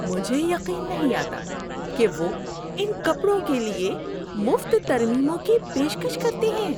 مجھے یقین نہیں آتا کہ وہ ان کپڑوں کے لیے مفت ترمیموں کی پیشکش کرتے ہیں!